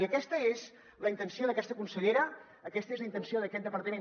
i aquesta és la intenció d’aquesta consellera aquesta és la intenció d’aquest departament